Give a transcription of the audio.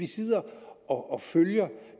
sidde og følge det